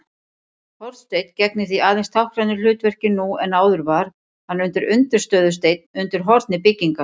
Hornsteinn gegnir því aðeins táknrænu hlutverki nú en áður var hann undirstöðusteinn undir horni byggingar.